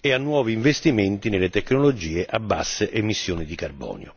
ed a nuovi investimenti nelle tecnologie a basse emissioni di carbonio.